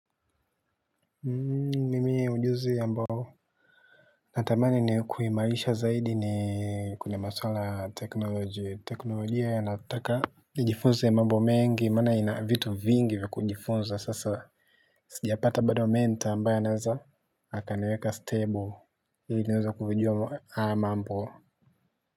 Mimi ujuzi ambao natamani kuimarisha zaidi ni kuna masuala ya teknolojia yanayotaka nijifunze mambo mengi maana ina vitu vingi vya kujifunza, sasa sijapata bado mentor ambaye anaweza. Akaniweka stable ili niweze kuyajua haya mambo.